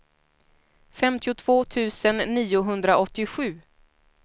femtiotvå tusen niohundraåttiosju